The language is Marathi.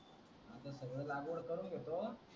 सगळं लागवणं करून घेतो